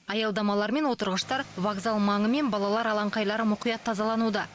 аялдамалар мен отырғыштар вокзал маңы мен балалар алаңқайлары мұқият тазалануда